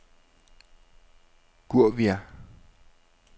Gouvia